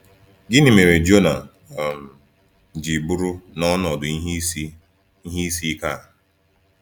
Gịnị mere Jona um ji bụrụ n’ọnọdụ ihe isi ihe isi ike a?